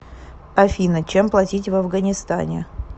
афина чем платить в афганистане